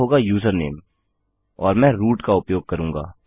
दूसरा होगा यूजरनेम और मैं रूट का उपयोग करूँगा